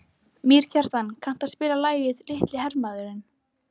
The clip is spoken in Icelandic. Mýrkjartan, kanntu að spila lagið „Litli hermaðurinn“?